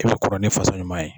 E bi kɔrɔ ni fasa ɲuman ye.